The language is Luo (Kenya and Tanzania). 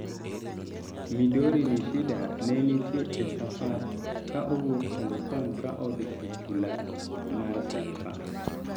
Midori Nishida, ne nitie e safar ka owuok Hong Kong ka odhi e chula mar Saipan